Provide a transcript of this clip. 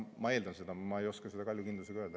Ma eeldan seda, aga ma ei oska seda kaljukindlusega öelda.